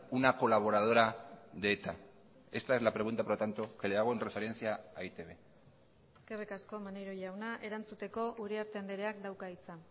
una colaboradora de eta esta es la pregunta por lo tanto que le hago en referencia a e i te be eskerrik asko maneiro jauna erantzuteko uriarte andreak dauka hitza